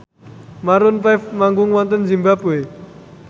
Maroon 5 manggung wonten zimbabwe